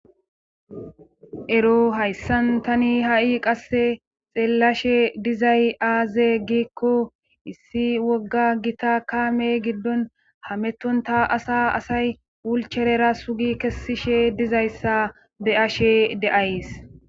Ero hayssan tani ha7i qasse xeellashe dizay aaze giikko issi wogga gita kaame giddon hametonta asa asay wulcherera sugi kessishe dizayssa be ashe deays